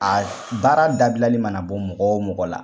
A baara dabilali mana bɔ mɔgɔ o mɔgɔ la